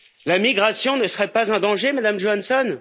La migration ne serait pas un danger, Madame Johansson?